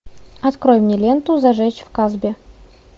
открой мне ленту зажечь в касбе